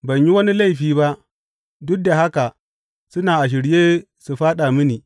Ban yi wani laifi ba, duk da haka suna a shirye su fāɗa mini.